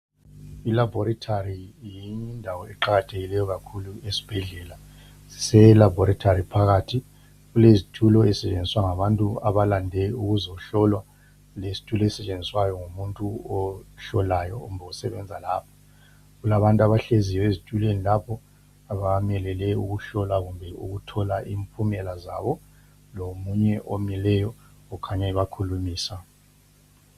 Ilaboritory yindawo eqakathekileyo kakhulu esibhedlela elaboritory phakathi kulezitula ezisetshenziswa ngabantu abalande ukuzohlolwa lesitu esisetshenziswa ngumuntu ohlolayo kumbe osebenza lapha kulabantu abahleziyo ezitulweni lapho abamelele ukuhlolwa kumbe ukuthola imphumela zabo lomunye omileyo okhanya ebakhulumisa.